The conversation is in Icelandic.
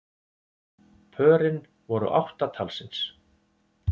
Pörin voru átta talsins